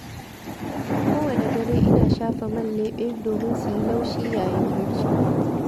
Kowane dare, ina shafa man leɓe, domin su yi laushi yayin barci.